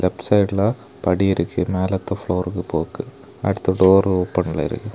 சைட்ல படி இருக்கு மேலத்த ப்ளோருக்கு போக்கு அடுத்த டோர் ஓபன்ல இருக்கு.